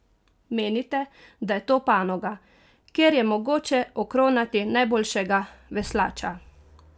Menite, da je to panoga, kjer je mogoče okronati najboljšega veslača?